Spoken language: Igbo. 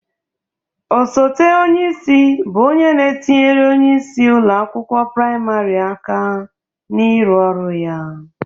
Osete onyeisi bụ onye na-etinyere onyeisi ụlọ akwụkwọ prịmarị aka ịrụ ọrụ ya.